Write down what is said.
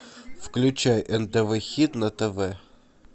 включай нтв хит на тв